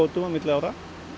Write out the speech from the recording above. milli ára